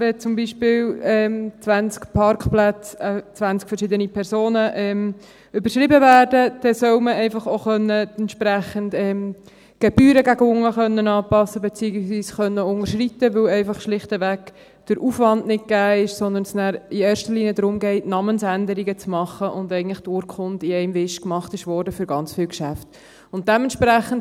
Wenn zum Beispiel 20 Parkplätze an 20 verschiedene Personen überschrieben werden, dann soll man einfach auch entsprechend Gebühren gegen unten anpassen können, beziehungsweise unterschreiten können, weil der Aufwand einfach schlicht nicht gegeben ist, sondern es nachher in erster Linie darum geht, Namensänderungen zu machen, und die Urkunde eigentlich für ganz viele Geschäfte in einem Wisch gemacht wurde.